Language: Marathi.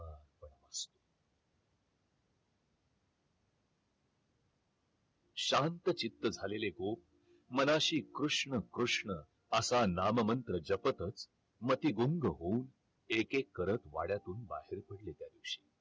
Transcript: शांतचित्त झालेले गोप मनाशी कृष्ण कृष्ण असा नाममंत्र जपतच ती गुंग होऊन एक एक करत वाड्यातून बाहेर पडली त्या दिवशी